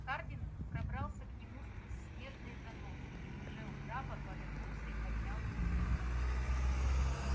хардин пробрался к нему сквозь снежные заносы и уже у трапа повернулся и поднял руку